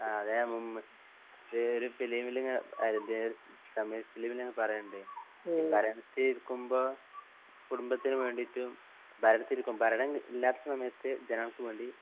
ആ അതാഞാൻ മുൻ ഇത് ഒരു ഫിലിമിൽ ഇങ്ങ അത് ഒരു തമിഴ് ഫിലിമില് പറയൊണ്ട്. ഭരണത്തിലിരിക്കുമ്പോ കുടുംബത്തിന് വേണ്ടിട്ടും ഭരണത്തിലിരിക്കുമ്പോ ഭരണം ഇല്ലാത്ത സമയത്ത് ജനങ്ങൾക്ക്‌വേണ്ടി